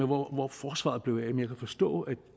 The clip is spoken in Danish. hvor forsvaret blev af og jeg kan forstå at